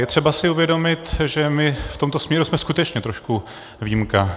Je třeba si uvědomit, že my v tomto směru jsme skutečně trošku výjimka.